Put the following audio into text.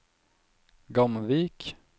Gamvik